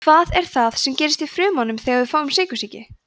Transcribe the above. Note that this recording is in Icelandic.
hvað er það sem gerist í frumunum þegar við fáum sykursýki